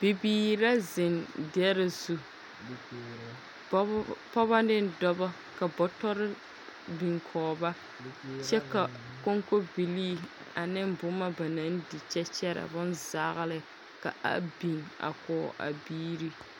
Bibiir la zeŋ dɛre zu, pɔb pɔbɔ ne dɔbɔ ka Bɔtɔr biŋ kɔɔ ba. Kyɛ ka koŋko bilii ane boma ba naŋ di kyɛ kyɛra bonzaole kaa biŋ a kɔɔ a biiri.